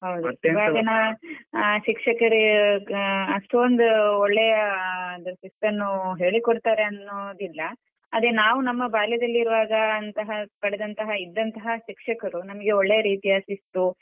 ಹೌದು ಇವಾಗಿನ ಶಿಕ್ಷಕರು ಹ ಅಷ್ಟೊಂದು ಒಳ್ಳೆಯ ಆ ಶಿಸ್ತನ್ನು ಹೇಳಿಕೊಡತಾರೆ ಅನ್ನೋದಿಲ್ಲ ಅದೇ ನಾವು ನಮ್ಮ ಬಾಲ್ಯದಲ್ಲಿ ಇರುವಾಗ ಅಂತಹ ಪಡೆದಂತಹ ಇದ್ದಂತಹ ಶಿಕ್ಷಕರು ನಮ್ಗೆ ಒಳ್ಳೆಯ ರೀತಿಯ ಶಿಸ್ತು.